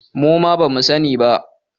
Muma bamu sa ni ba